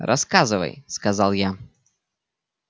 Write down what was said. рассказывай сказал я